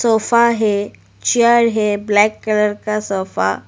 Sofa है chair है black colour का सोफा ।